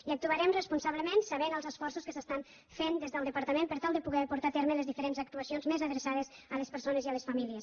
i actuarem responsable·ment sabent els esforços que s’estan fent des del depar·tament per tal de poder portar a terme les diferents ac·tuacions més adreçades a les persones i a les famílies